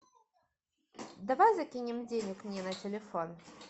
давай закинем денег мне на телефон